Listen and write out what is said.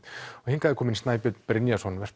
hingað er kominn Snæbjörn Brynjarsson